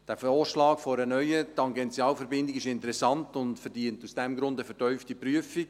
Der Vorschlag einer neuen Tangentialverbindung ist interessant und verdient aus diesem Grund eine vertiefte Prüfung.